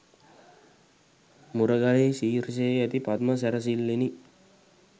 මුරගලෙහි ශීර්ෂයේ ඇති පද්ම සැරසිල්ලෙනි.